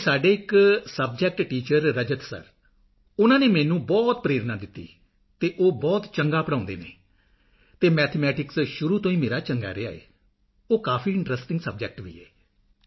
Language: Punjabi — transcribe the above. ਜੀ ਸਾਡੇ ਇਕ ਸਬਜੈਕਟ ਟੀਚਰ ਰਜਤ ਸਰ ਉਨ੍ਹਾਂ ਨੇ ਮੈਨੂੰ ਪ੍ਰੇਰਣਾ ਦਿੱਤੀ ਅਤੇ ਉਹ ਬਹੁਤ ਚੰਗਾ ਪੜ੍ਹਾਉਦੇ ਹਨ ਅਤੇ ਮੈਥਮੈਟਿਕਸ ਸ਼ੁਰੂ ਤੋਂ ਹੀ ਮੇਰਾ ਚੰਗਾ ਰਿਹਾ ਹੈ ਅਤੇ ਉਹ ਕਾਫੀ ਇੰਟਰੈਸਟਿੰਗ ਸਬਜੈਕਟ ਵੀ